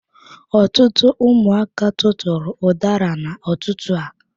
Ọtụtụ ụmụaka tụtụrụ udara n'ututu a.